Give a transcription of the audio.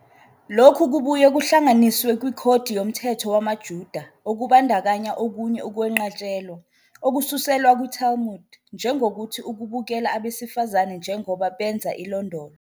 Lokhu kubuye kuhlanganiswe kwiKhodi Yomthetho WamaJuda, okubandakanya okunye ukwenqatshelwa, okususelwa kwiTalmud, njengokuthi "ukubukela abesifazane njengoba benza ilondolo."